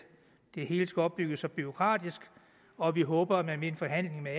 det hele skal opbygges så bureaukratisk og vi håber man ved en forhandling med